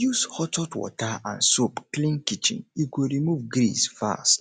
use hot hot water and soap clean kitchen e go remove grease fast